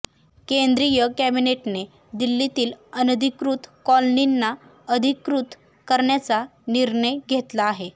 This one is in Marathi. केंद्रीय कॅबिनेटने दिल्लीतील अनधिकृत कॉलनींना अधिकृत करण्याचा निर्णय घेतला आहे